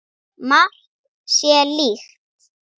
Margt sé líkt.